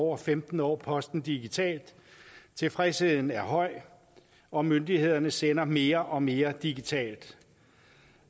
over femten år posten digitalt tilfredsheden er høj og myndighederne sender mere og mere digitalt